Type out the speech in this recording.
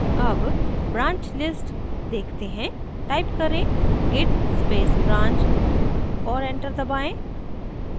अब branch list देखते हैं टाइप करें git space branch और enter दबाएँ